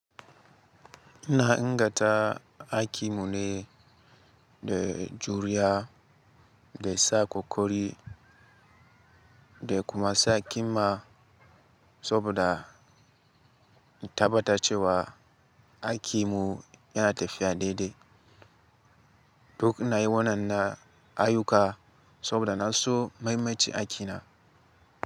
Ina ingata aiki mu ne, da juriya, da sa ƙoƙari, da kuma sa ƙima saboda in tabbata cewa aiki mu yana tafiya daidai. Duk inayin wadan nan ayuka saboda na so mai maci aikina.